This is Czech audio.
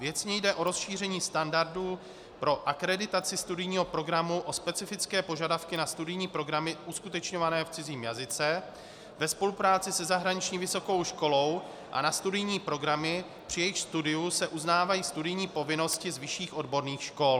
Věcně jde o rozšíření standardů pro akreditaci studijního programu o specifické požadavky na studijní programy uskutečňované v cizím jazyce ve spolupráci se zahraniční vysokou školou a na studijní programy, při jejichž studiu se uznávají studijní povinnosti z vyšších odborných škol.